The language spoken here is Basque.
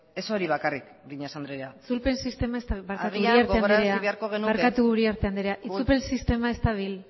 ez hori bakarrik breñas andrea itzulpen sistema ez dabil barkatu uriarte andrea itzulpen sistema ez dabil